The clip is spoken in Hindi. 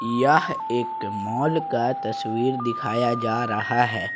यह एक मॉल का तस्वीर दिखाया जा रहा है।